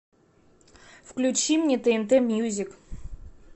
включи мне тнт мьюзик